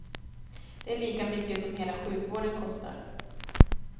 Det är lika mycket som hela sjukvården kostar.